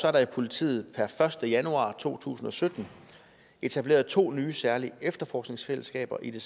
er der i politiet per første januar to tusind og sytten etableret to nye særlige efterforskningsfællesskaber i